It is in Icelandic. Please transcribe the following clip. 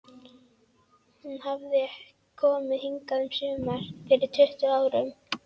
Hún hafði komið hingað um sumar fyrir tuttugu árum.